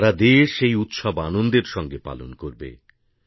সারা দেশ এই উৎসব আনন্দের সঙ্গে পালন করবে